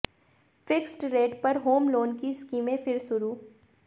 fixed rate पर home loan की स्कीमें फिर शुरू